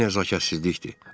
Bu nəzakətsizlikdir.